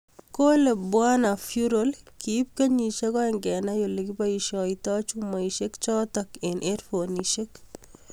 Kole Bw Vural kiib kenyisiek aeng' kenai ole kibaisiatoi chumaisiek chotok eng' hedfonisiek.